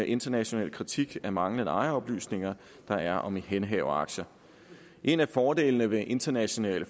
internationale kritik af manglende ejeroplysninger der er om ihændehaveraktier en af fordelene ved internationale